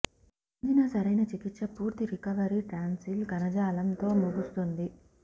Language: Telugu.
ఆంజినా సరైన చికిత్స పూర్తి రికవరీ టాన్సిల్ కణజాలం తో ముగుస్తుంది